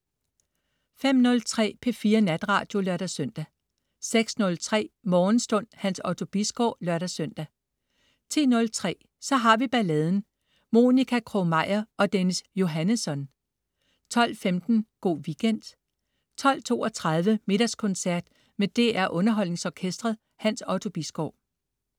05.03 P4 Natradio (lør-søn) 06.03 Morgenstund. Hans Otto Bisgaard (lør-søn) 10.03 Så har vi balladen. Monica Krog-Meyer og Dennis Johannesson 12.15 Go' Weekend 12.32 Middagskoncert. Med DR Underholdningsorkestret. Hans Otto Bisgaard